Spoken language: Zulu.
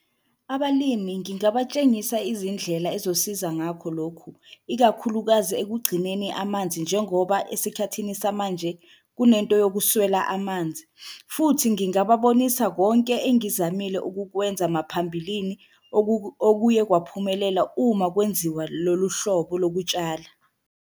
Abalimi ngingatshengisi izindlela ezosiza ngakho lokhu ikakhulukazi ekugcineni amanzi njengoba esikhathini samanje kunento yokuswela manzi. Futhi ngingababonisa konke engiyizamile ukukwenza maphambilini okuye kwaphumelela uma kwenziwa lolu hlobo lokutshala.